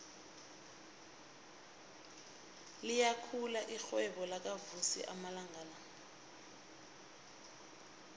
liyakhula irhwebo lakavusi amalanga la